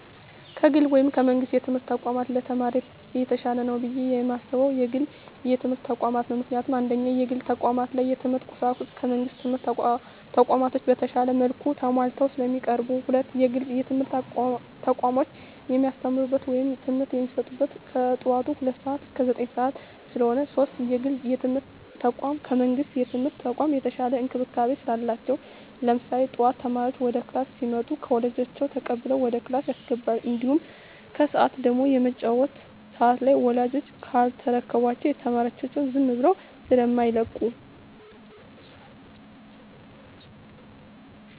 ከግል ወይም ከመንግስት የትምህርት ተቋማት ለተማሪ የተሻለ ነው ብየ የማስበው የግል የትምህርት ተቋማትን ነው። ምክንያቱም፦ 1ኛ, የግል ተቋማት ላይ የትምህርት ቁሳቁሱ ከመንግስት ትምህርት ተቋማቶች በተሻለ መልኩ ተማሟልተው ስለሚቀርቡ። 2ኛ, የግል የትምህርት ተቋሞች የሚያስተምሩት ወይም ትምህርት የሚሰጡት ከጠዋቱ ሁለት ሰዓት እስከ ዘጠኝ ሰዓት ስለሆነ። 3ኛ, የግል የትምርት ተቋም ከመንግስት የትምህርት ተቋም የተሻለ እንክብካቤ ስላላቸው። ለምሳሌ ጠዋት ተማሪዎች ወደ ክላስ ሲመጡ ከወላጆች ተቀብለው ወደ ክላስ ያስገባሉ። እንዲሁም ከሰዓት ደግሞ የመውጫ ሰዓት ላይ ወላጅ ካልተረከባቸው ተማሪዎቻቸውን ዝም ብለው ስማይለቁ።